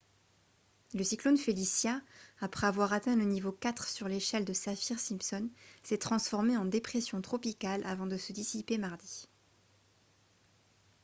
le cyclone felicia après avoir atteint le niveau 4 sur l'échelle de saffir-simpson s'est transformé en dépression tropicale avant de se dissiper mardi